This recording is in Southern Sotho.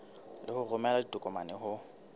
le ho romela ditokomane ho